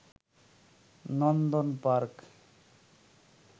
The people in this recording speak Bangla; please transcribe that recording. নন্দন পার্ক